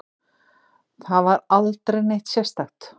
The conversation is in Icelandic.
Það var aldrei neitt sérstakt.